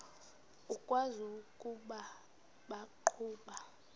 ukwazi ukuba baqhuba